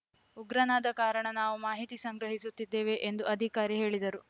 ಉಗ್ರನಾದ ಕಾರಣ ನಾವು ಮಾಹಿತಿ ಸಂಗ್ರಹಿಸುತ್ತಿದ್ದೇವೆ ಎಂದು ಅಧಿಕಾರಿ ಹೇಳಿದರು